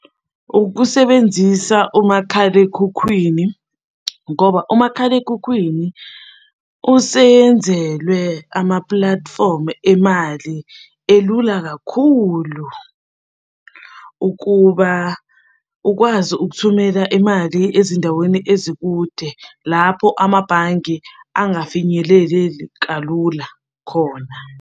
Ukusebenzisa umakhalekhukhwini ngoba umakhalekhukhwini useyenzelwe ama-platform emali elula kakhulu ukuba ukwazi ukuthumela imali ezindaweni ezikude lapho amabhange angafinyeleleli kalula.